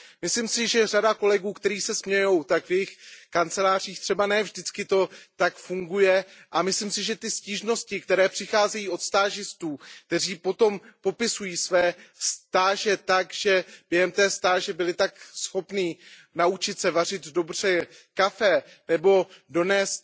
Myslím si, že řada kolegů, kteří se smějí, tak v jejich kancelářích třeba ne vždycky to tak funguje, a myslím si, že ty stížnosti, které přicházejí od stážistů, kteří potom popisují své stáže tak, že během stáže byli tak schopni naučit se vařit dobře kávu nebo donést